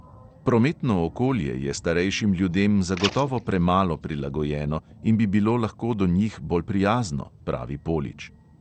Prometno okolje je starejšim ljudem zagotovo premalo prilagojeno in bi bilo lahko do njih bolj prijazno, pravi polič.